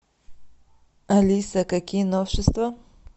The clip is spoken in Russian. алиса какие новшества